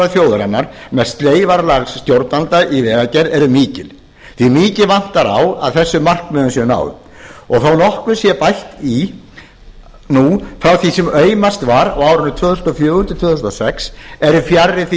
þjóðarinnar með sleifarlag stjórnvalda í vegagerð eru mikil því mikið vantar á að þessum markmiðum sé náð og þó nokkuð sé bætt í nú frá því sem aumast var á árinu tvö þúsund og fjögur til tvö þúsund og sex er fjarri því